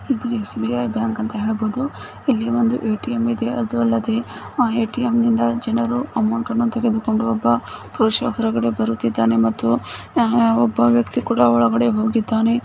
ಇದು SBI bank ಅಂತ ಹೇಳಬಹುದು ಇಲ್ಲಿ ಒಂದು ಎ.ಟಿ.ಎಂ ಇದೆ ಅದೂ ಅಲ್ಲದೇ ಆ ಎ.ಟಿ.ಎಂ ನಿಂದ ಜನರು ಅಮೌಂಟ್ಅನ್ನು ತೆಗೆದುಕೊಂಡು ಒಬ್ಬ ಪುರುಷ ಹೊರಗಡೆ ಬರುತ್ತಿದ್ದಾನೆ ಮತ್ತು ಅ ಒಬ್ಬ ವ್ಯಕ್ತಿ ಕೂಡ ಒಳಗಡೆ ಹೋಗಿದ್ದಾನೆ.